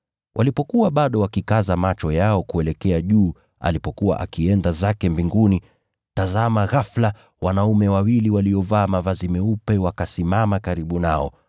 Walipokuwa bado wakikaza macho yao kuelekea juu alipokuwa akienda zake Mbinguni, tazama ghafula, wanaume wawili waliovaa mavazi meupe wakasimama karibu nao,